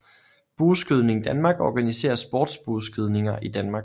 Bueskydning Danmark organiserer sports bueskydning i Danmark